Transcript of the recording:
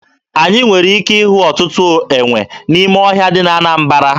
Anyị nwere ike ịhụ ọtụtụ enwe n'ime ọhịa dị na Anambara.